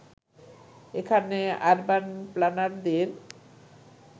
এখানে অরবান প্ল্যানারদের